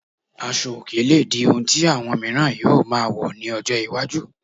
Asọ òkè lè di ohun tí àwọn miiran yóò máa wọ̀ ní ọjọ́ iwájú